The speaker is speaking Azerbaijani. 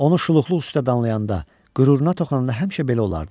Onu şuluqluq üstdə danlayanda, qüruruna toxunanda həmişə belə olardı.